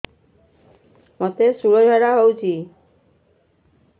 ମୋତେ ଶୂଳା ଝାଡ଼ା ହଉଚି